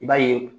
I b'a ye